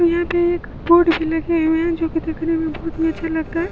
यहाँ पे एक बोर्ड भी लगे हुए हैं जोकि देखने मे बहुत ही अच्छी लगता है।